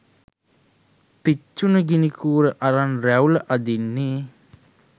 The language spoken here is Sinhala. "පිච්චුන ගිනි කූර අරන් රැවුල අඳින්නේ